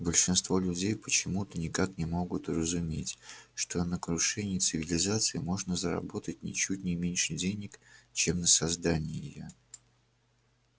большинство людей почему-то никак не могут уразуметь что на крушении цивилизации можно заработать ничуть не меньше денег чем на создании её